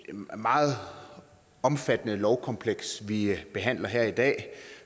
meget omfattende lovkompleks vi behandler her i dag